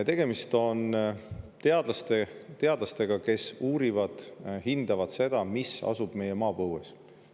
Tegemist on teadlastega, kes uurivad, hindavad seda, mis asub meie maapõues.